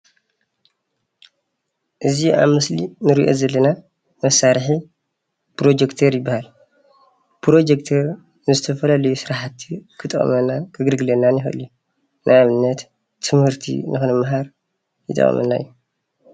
እዚ ኣብ ምስሊ እንሪኦ ዘለና መሳርሒ ፕሮጆክተር ይበሃል ።ፕሮጆክተር ንዝተፈላለዪ ስራሕቲ ኽጠቅመናን ከገልግለናን ይኽእል እዩ። ን ኣብነት ትምህርቲ ንክንማሃር ይጠቅመና እዩ።